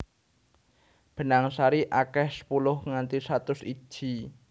Benang sari akeh sepuluh nganti satus iji